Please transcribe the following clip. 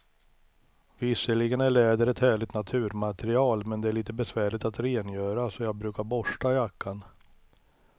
Visserligen är läder ett härligt naturmaterial, men det är lite besvärligt att rengöra, så jag brukar borsta jackan.